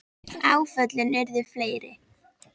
Áföllin urðu fleiri.